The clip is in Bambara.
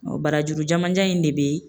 barajuru jamanjan in de bɛ